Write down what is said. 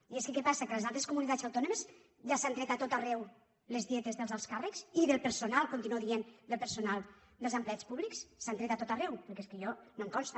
i és que què passa que a les altres comunitats autònomes ja s’han tret a tot arreu les dietes dels alts càrrecs i del personal continuo dient dels empleats públics s’han tret a tot arreu perquè és que a mi no em consta